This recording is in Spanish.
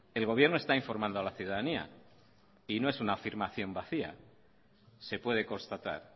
el gobierno está informando a la ciudadanía y no es una afirmación vacía se puede constatar